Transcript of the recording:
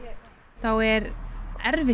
þá er erfitt